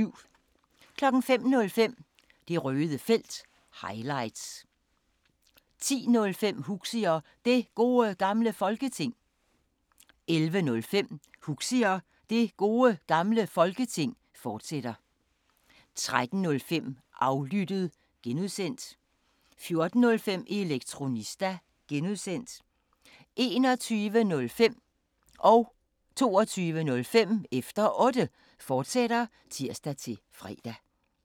05:05: Det Røde Felt – highlights 10:05: Huxi og Det Gode Gamle Folketing 11:05: Huxi og Det Gode Gamle Folketing, fortsat 13:05: Aflyttet (G) 14:05: Elektronista (G) 21:05: Efter Otte, fortsat (tir-fre) 22:05: Efter Otte, fortsat (tir-fre)